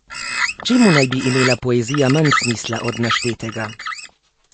Čemu naj bi imela poezija manj smisla od naštetega?